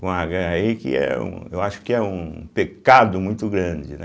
Com agá aí, que é um eu acho que é um pecado muito grande, né?